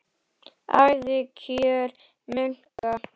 Ævikjör munka